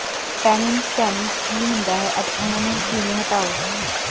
tannin stains ਕੀ ਹੁੰਦਾ ਹੈ ਅਤੇ ਉਹਨਾਂ ਨੂੰ ਕਿਵੇਂ ਹਟਾਓ